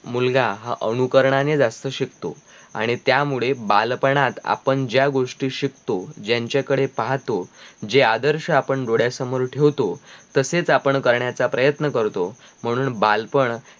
मुलगा हा अनुकरणाने जास्त शिकतों आणि त्या मुळे बालपणात आपण ज्या गोष्टी शिकतों ज्यांच्या कडे पाहतो जे आदर्श आपण डोळ्या समोर ठेवतो तसेच आपण करणाचा प्रयत्न करतो म्हणून बालपण